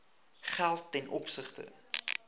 geld ten opsigte